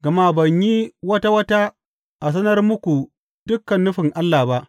Gama ban yi wata wata a sanar muku dukan nufin Allah ba.